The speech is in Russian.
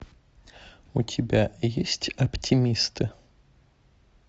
у тебя есть оптимисты